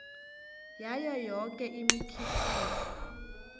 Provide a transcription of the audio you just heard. yayo yoke imikhiqizo